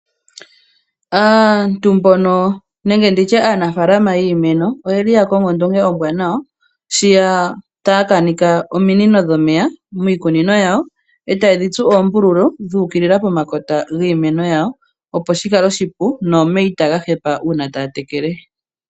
Aanafaalama yiimeno oyeli yakongo ondunge ombwanawa sho yataakanitha ominino dhomeya miikunino yawo,e taye dhitsu oombululu dhuukilila pomakota giimeno yawo opo shikale oshipu nomeya itaga hepa uuna taya tekele.